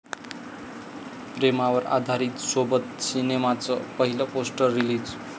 प्रेमावर आधारित 'सोबत' सिनेमाचं पहिलं पोस्टर रिलीज